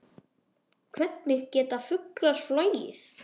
Hvernig geta fuglar flogið?